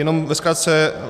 Jenom ve zkratce.